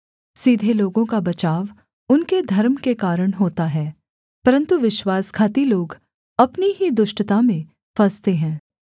सीधे लोगों का बचाव उनके धर्म के कारण होता है परन्तु विश्वासघाती लोग अपनी ही दुष्टता में फँसते हैं